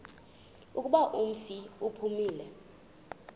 kuba umfi uphumile